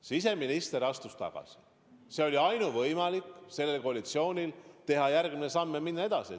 Siseminister astus tagasi, see oli selle koalitsiooni ainuvõimalik samm, et teha järgmine samm ja minna edasi.